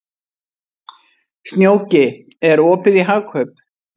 Snjóki, er opið í Hagkaup?